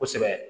Kosɛbɛ